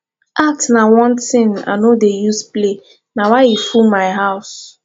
art na one thing i no dey use play na why e full my house